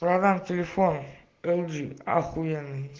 продам телефон лджи ахуеный